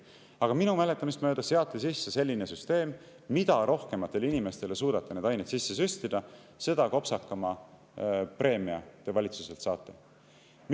Aga minu mäletamist mööda seati sisse selline süsteem, et mida rohkematele inimestele suudate neid aineid sisse süstida, seda kopsakama preemia valitsuselt saate.